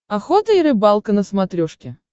охота и рыбалка на смотрешке